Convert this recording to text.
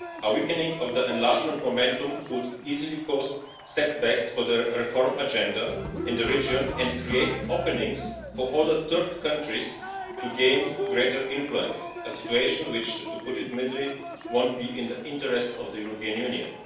A weakening of enlargement momentum could easily cause setbacks for the reform agenda in the region and create openings for other third countries to gain greater influence a situation which, to put it mildly, won't be in the interests of the European Union.